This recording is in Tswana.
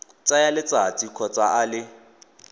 tsaya letsatsi kgotsa a le